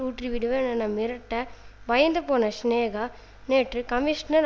ஊற்றிவிடுவேன் என மிரட்ட பயந்துபோன சினேகா நேற்று கமிஷனர்